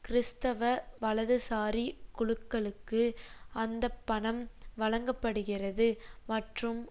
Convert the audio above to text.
கிறிஸ்தவ வலதுசாரி குழுக்களுக்கு அந்தப்பணம் வழங்க படுகிறது மற்றும்